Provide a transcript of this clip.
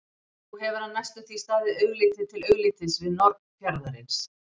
Nú hefur hann næstum því staðið augliti til auglitis við norn fjarðarins.